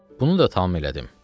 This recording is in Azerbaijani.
Bunu da tam elədim.